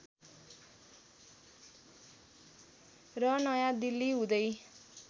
र नयाँ दिल्ली हुँदै